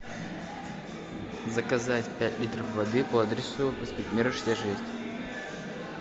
заказать пять литров воды по адресу проспект мира шестьдесят шесть